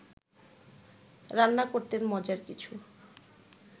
রান্না করতেন মজার কিছু